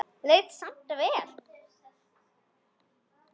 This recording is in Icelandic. Leið samt vel.